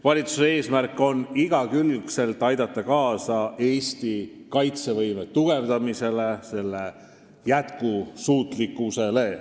Valitsuse eesmärk on igakülgselt aidata kaasa Eesti kaitsevõime tugevnemisele, selle jätkusuutlikkusele.